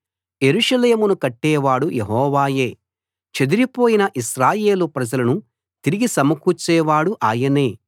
యెరూషలేమును కట్టేవాడు యెహోవాయే చెదరిపోయిన ఇశ్రాయేలు ప్రజలను తిరిగి సమకూర్చేవాడు ఆయనే